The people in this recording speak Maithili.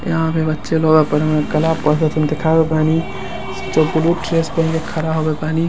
यहां पे बच्चे लोग अपना कला प्रदर्शन दिखा बत बानी सब ब्लू ड्रेस पहन के खड़ा हुआ बानी ।